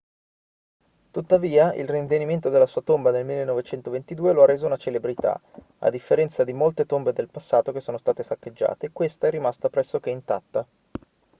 tuttavia il rinvenimento della sua tomba nel 1922 lo ha reso una celebrità a differenza di molte tombe del passato che sono state saccheggiate questa è rimasta pressoché intatta